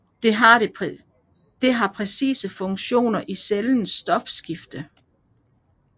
Det har præcise funktioner i cellens stofskifte